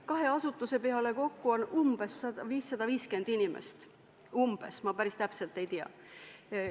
Kahe asutuse peale kokku on umbes 550 inimest, ma päris täpset arvu ei tea.